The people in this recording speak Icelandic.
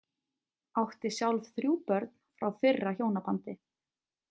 Átti sjálf þrjú börn frá fyrra hjónabandi.